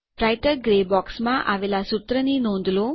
writer grey બોક્સમાં આવેલાં સુત્રની નોંધ લો